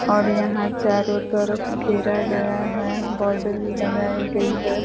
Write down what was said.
और यहाँ चारों तरफ घेरा गया है। बॉर्डर भी लगायी गई है।